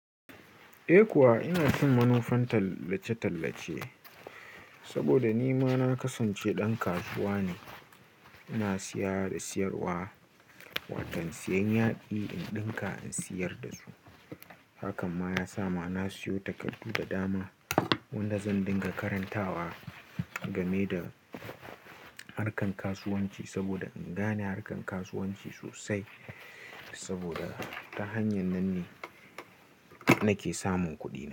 Eh kuwa ina cin manufan tallace-tallace saboda ni ma na kasance ɗan kasuwa ne. Ina siya da siyarwa, watan siyan yadi in ɗinka in siyar da su. Hakan ma ya sa na siyo takardu da dama wanda zan dinga karantawa game da harkan kasuwanci saboda in gane harkan kasuwanci sosai saboda ta hanyar nan ne nake samun kuɗi.